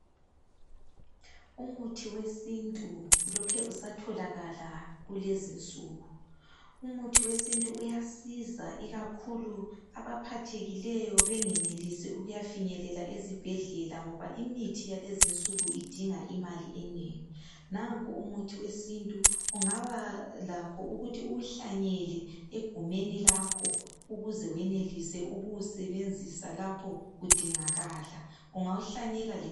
Umuthi wesintu ulokhe usatholakala kulezinsuku umuthi wesintu uyasiza ikakhulu abaphathekileyo bengenelisi ukuyafinyelela ezibhedlela ngoba imithi yalezinsuku idinga imali enengi nanko umuthi wesintu ungaba lakho ukuthi uwuhlanyela egumeni lakho ukuze wenelise ukuwusebenzisa lapho udingakala ungawuhlanyela lemasimini.